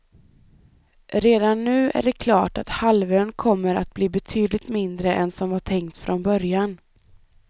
Redan nu är det klart att halvön kommer att bli betydligt mindre än som var tänkt från början.